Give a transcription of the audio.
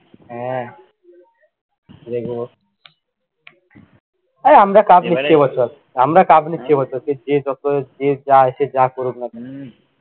হ্যাঁ দেখবো। এই আমরা cup নিচ্ছি এবছর আমরা কাপ নিচ্ছি এবছর, যে যত যে যা এসে যা করুক না কেন, উম